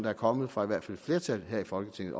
er kommet fra i hvert fald et flertal her i folketinget